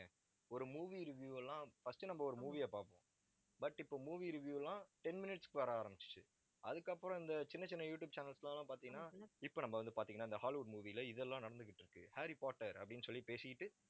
ஒரு movie review எல்லாம் first நம்ம ஒரு movie ய பார்ப்போம். but இப்ப movie review லாம் ten minutes க்கு வர ஆரம்பிச்சுச்சு. அதுக்கப்புறம் இந்த சின்ன சின்ன யூடியூப் channels லாம் பார்த்தீங்கன்னா இப்ப நம்ம வந்து பார்த்தீங்கன்னா இந்த hollywood movie ல இதெல்லாம் நடந்துகிட்டு ஹாரி பாட்டர் அப்படின்னு சொல்லி பேசிக்கிட்டு